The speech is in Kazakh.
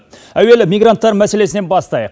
әуелі мигранттар мәселесінен бастайық